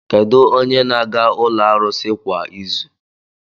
Kedu onye na-aga ụlọ arụsị kwa izu?